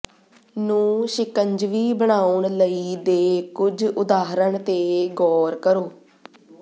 ਨੂੰ ਸ਼ਿਕੰਜਵੀ ਬਣਾਉਣ ਲਈ ਦੇ ਕੁਝ ਉਦਾਹਰਣ ਤੇ ਗੌਰ ਕਰੋ